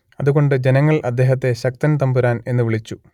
അതുകൊണ്ട് ജനങ്ങൾ അദ്ദേഹത്തെ ശക്തൻ തമ്പുരാൻ എന്നു വിളിച്ചു